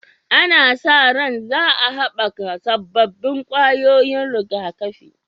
Ana sa ran za a haɓaka sabbin ƙwayoyin rigakafi